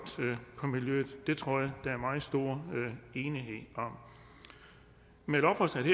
på miljøet det tror jeg der er meget stor enighed om med lovforslaget